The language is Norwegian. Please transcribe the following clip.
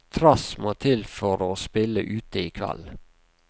Trass må til for å spille ute i kveld.